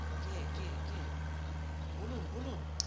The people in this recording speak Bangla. কে কে কে? বলুন বলুন